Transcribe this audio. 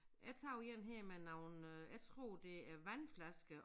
Jeg tager én her med nogle øh jeg tror det er vandflasker